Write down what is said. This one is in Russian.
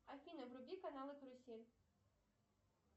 афина вруби канал карусель